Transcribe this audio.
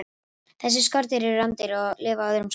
Þessi skordýr eru rándýr og lifa á öðrum skordýrum.